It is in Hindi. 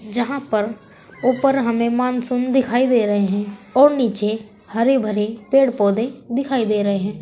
यहां पर ऊपर हमें मानसून दिखाई दे रहे हैं और नीचे हरे भरे पेड़ पौधे दिखाई दे रहे हैं।